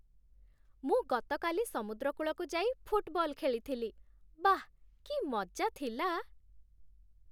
ମୁଁ ଗତକାଲି ସମୁଦ୍ରକୂଳକୁ ଯାଇ ଫୁଟବଲ ଖେଳିଥିଲି । ବାଃ କି ମଜା ଥିଲା!